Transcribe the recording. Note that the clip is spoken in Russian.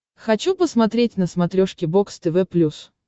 хочу посмотреть на смотрешке бокс тв плюс